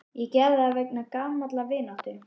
Ég gerði það vegna gamallar vináttu.